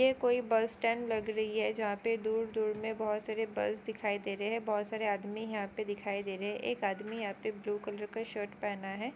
यह कोई bus stand लग रही है जहाँ पे दूर दूर में बहुत सारे बस दिखाई दे रहे है। बहुत सारे आदमी यहाँ पे दिखाई दे रहे है एक आदमी यहाँ पे ब्लू कलर का शर्ट पहना है।